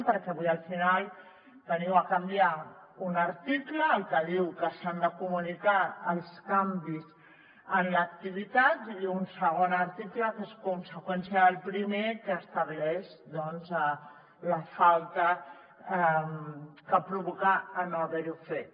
perquè avui al final veniu a canviar un article el que diu que s’han de comunicar els canvis en l’activitat i un segon article que és conseqüència del primer que estableix doncs la falta que provoca no haver ho fet